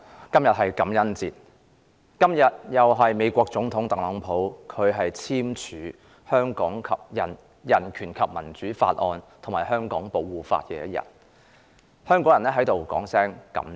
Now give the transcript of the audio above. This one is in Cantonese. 局長，今天是感恩節，亦是美國總統特朗普簽署《香港人權與民主法案》及《香港保護法》的日子，香港人想在此說聲"感謝！